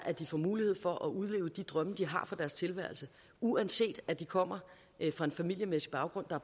at de får mulighed for at udleve de drømme de har for deres tilværelse uanset at de kommer fra en familiemæssig baggrund der